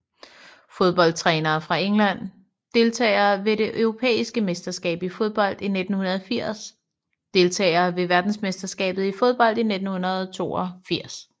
Fodboldtrænere fra England Deltagere ved det europæiske mesterskab i fodbold 1980 Deltagere ved verdensmesterskabet i fodbold 1982